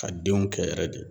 Ka denw kɛ yɛrɛ de